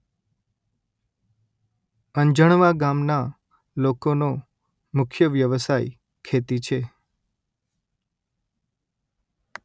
અંજણવા ગામના લોકોનો મુખ્ય વ્યવસાય ખેતી છે